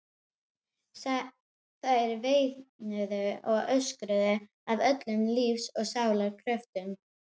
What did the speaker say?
Þær veinuðu og öskruðu af öllum lífs og sálar kröftum.